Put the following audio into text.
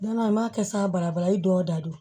N'a m'a kɛ sa barabara i dɔw da don